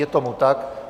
Je tomu tak.